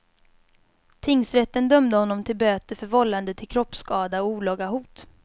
Tingsrätten dömde honom till böter för vållande till kroppsskada och olaga hot.